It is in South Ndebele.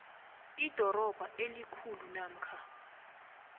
idorobha elikhulu namkha